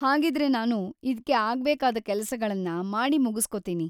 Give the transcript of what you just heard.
ಹಾಗಿದ್ರೆ ನಾನು ಇದ್ಕೆ ಆಗ್ಬೇಕಾದ ಕೆಲಸಗಳನ್ನ ಮಾಡಿಮುಗಿಸ್ಕೊತೀನಿ.